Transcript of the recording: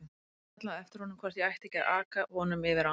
Ég kallaði á eftir honum hvort ég ætti ekki að aka honum yfir ána.